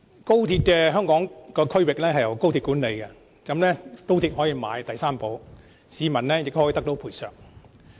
高鐵的香港區域由高鐵管理，高鐵可以購買第三者保險，市民也可得到賠償。